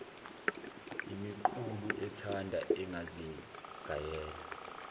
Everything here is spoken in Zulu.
imiqulu ethanda engazigayela